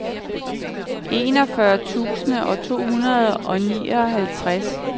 enogfyrre tusind to hundrede og nioghalvtreds